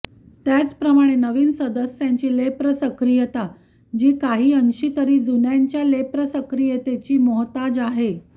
त्याचप्रमाणे नविन सदस्यांची लेप्र सक्रियता जी काही अंशी तरी जुन्यांच्या लेप्र सक्रियतेची मोहताज आहे